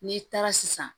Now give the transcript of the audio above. N'i taara sisan